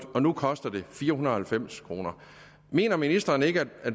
og nu koster det fire hundrede og halvfems kroner mener ministeren ikke at